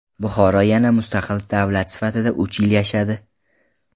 Buxoro yana mustaqil davlat sifatida uch yil yashadi.